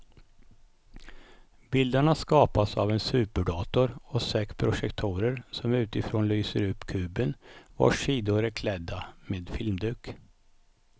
Bilderna skapas av en superdator och sex projektorer som utifrån lyser upp kuben vars sidor är klädda med filmduk.